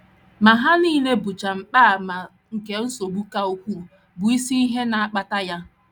Ma ha nile bụcha mgbaàmà nke nsogbu ka ukwuu, bụ́ isi ihe na - akpata ya.